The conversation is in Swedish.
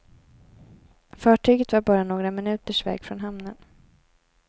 Fartyget var bara några minuters väg från hamnen.